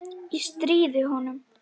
Ég stríði honum.